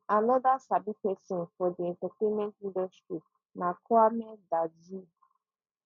anoda sabi pesin for di entertainment industry na kwame dadzi